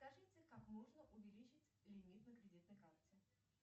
скажите как можно увеличить лимит на кредитной карте